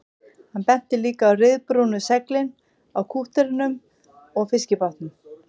Hann benti líka á ryðbrúnu seglin á kútterunum og fiskibátunum